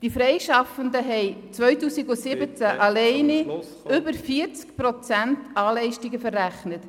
Die Freischaffenden haben 2017 alleine über 40 Prozent ALeistungen verrechnet.